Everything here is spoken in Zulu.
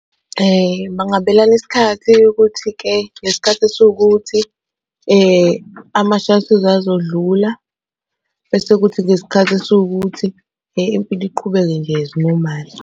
Bangabelana isikhathi sokuthi-ke, ngesikhathi esiwukuthi ama-shuttles azodlula bese kuthi ngesikhathi esiwukuthi impilo iqhubeke nje as normal.